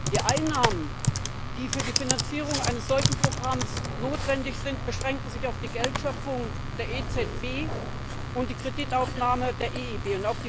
Die Einnahmen, die für die Finanzierung eines solchen Programms notwendig sind, beschränken sich auf die Geldschöpfung der EZB und die Kreditaufnahme der EIB.